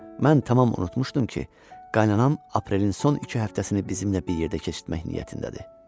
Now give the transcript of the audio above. Mən tamam unutmuşdum ki, qaynanam aprelin son iki həftəsini bizimlə bir yerdə keçirtmək niyyətindədir.